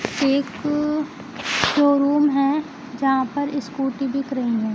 एक शोरूम है यहां पर स्कूटी बिक रही हैं।